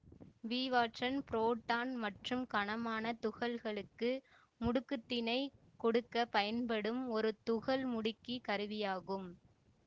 Bevatron proton மற்றும் கனமான துகள்களுக்கு முடுக்கத்தினைக் கொடுக்க பயன்படும் ஒரு துகள்முடுக்கிக் கருவியாகும்